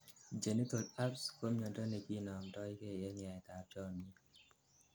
genital herpes ko miondo nekinomdogei en yaet ab chomnyet